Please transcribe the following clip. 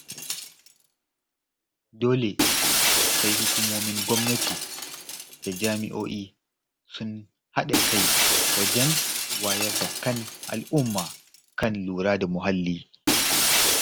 Dole sai hukumomin gwamnati da jami'o'i sun haɗa kai wajen wayar da kan al'umma kan lura da muhalli.